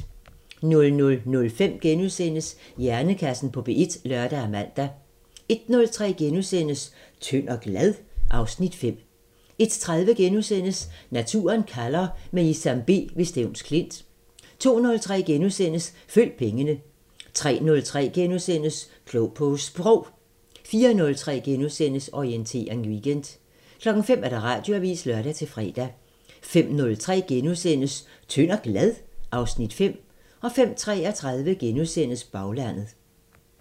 00:05: Hjernekassen på P1 *(lør og man) 01:03: Tynd og glad? (Afs. 5)* 01:30: Naturen kalder – med Isam B ved Stevns Klint * 02:03: Følg pengene * 03:03: Klog på Sprog * 04:03: Orientering Weekend * 05:00: Radioavisen (lør-fre) 05:03: Tynd og glad? (Afs. 5)* 05:33: Baglandet *